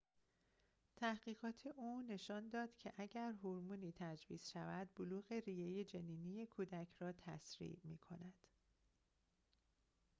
تحقیقات او نشان داد که اگر هورمونی تجویز شود بلوغ ریه جنینی کودک را تسریع می‌کند